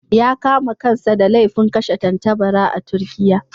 Ya kama kansa da laifin kashe tattabara a Turkiyya.